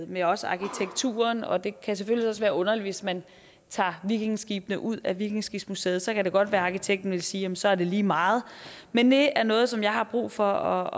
med også arkitekturen og det kan selvfølgelig også være underligt hvis man tager vikingeskibene ud af vikingeskibsmuseet så kan det godt være at arkitekten ville sige at så er det lige meget men det er noget som jeg har brug for